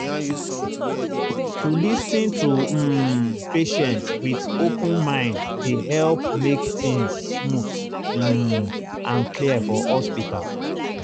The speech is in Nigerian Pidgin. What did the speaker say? to lis ten to um patient with open mind dey help make things smooth um and clear for hospital.